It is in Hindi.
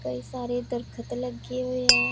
कई सारे दरखत लगे हुए हैं।